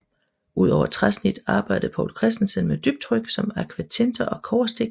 Udover træsnit arbejdede Povl Christensen med dybtryk som akvatinter og kobberstik